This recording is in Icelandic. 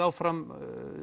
áfram